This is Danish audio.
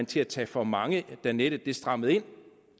til at tage for mange med da nettet strammedes ind